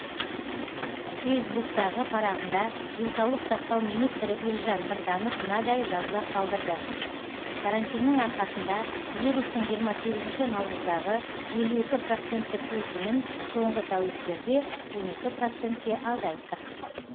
фейсбуктегі парағында денсаулық сақтау министрі елжан біртанов мынадай жазба қалдырды карантиннің арқасында вирустың жиырма сегізінші наурыздағы елу екі проценттік өсімін соңғы тәуліктерде он екі процентке азайттық